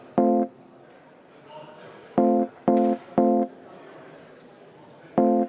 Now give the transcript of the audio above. Ma tänan, austatud kolleegid!